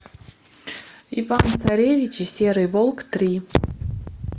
иван царевич и серый волк три